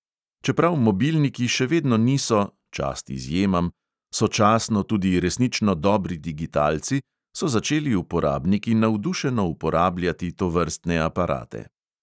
Čeprav mobilniki še vedno niso (čast izjemam) sočasno tudi resnično dobri digitalci, so začeli uporabniki navdušeno uporabljati tovrstne aparate.